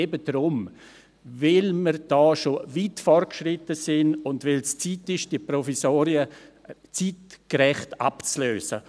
Eben darum: Weil wir hier schon weit fortgeschritten sind und weil es an der Zeit ist, die Provisorien zeitgerecht abzulösen.